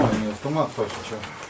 Brendli avtomat.